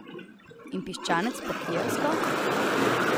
In piščanec po kijevsko?